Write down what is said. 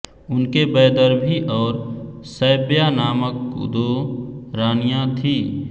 उनके वैदर्भी और शैव्या नामक दो रानियाँ थीं